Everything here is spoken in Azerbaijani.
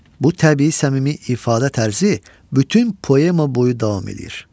Bu təbii səmimi ifadə tərzi bütün poema boyu davam edir.